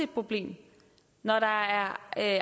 problem når der er